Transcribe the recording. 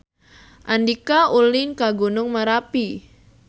Andika ulin ka Gunung Merapi